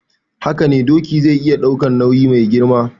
Hakane doki zai iya daukan nayi mai girma